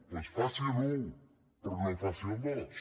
doncs faci l’un però no faci el dos